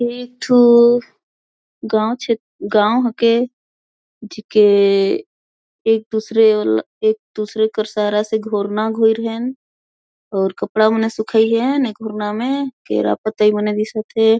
ई थू गांव छे गांव हेके जिके एक दूसरे-- एक दूसरे के सारा से घोरना घोईर हैन और कपडा मने सुखाईन हे ई घोरना में केरा पतई मने दिसथे।